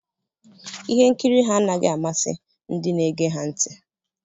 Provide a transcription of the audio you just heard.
Ihe nkiri ha anaghị amasị ndị na-ege ha ntị